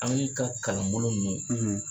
An mi ka kalanbolo min